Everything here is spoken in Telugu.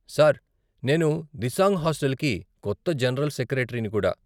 సార్, నేను దిసాంగ్ హాస్టల్కి కొత్త జనరల్ సెక్రటరీని కూడా.